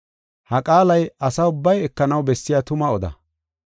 Ha qaalay asa ubbay ekanaw bessiya tuma oda.